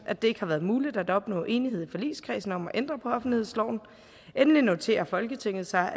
at det ikke har været muligt at opnå enighed i forligskredsen om at ændre offentlighedsloven endelig noterer folketinget sig